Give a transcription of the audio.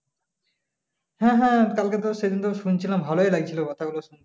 হ্যাঁ হ্যাঁ কালকে তো সেদিন তো শুনছিলাম ভালোই লাগছিল কথা গুলো শুনতে ।